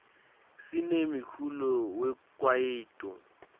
sinemiculo we kwaito